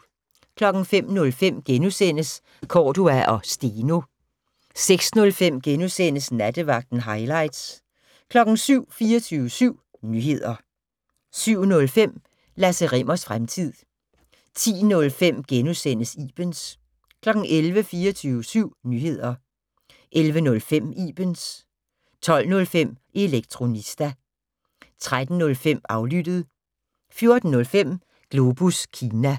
05:05: Cordua & Steno * 06:05: Nattevagten - hightlights * 07:00: 24syv Nyheder 07:05: Lasse Rimmers fremtid 10:05: Ibens * 11:00: 24syv Nyheder 11:05: Ibens 12:05: Elektronista 13:05: Aflyttet 14:05: Globus Kina